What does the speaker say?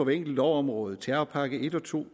enkelt lovområde terrorpakke en og to